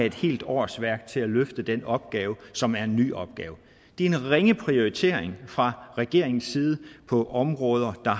et helt årsværk til at løfte den opgave som er en ny opgave det er en ringe prioritering fra regeringens side af områder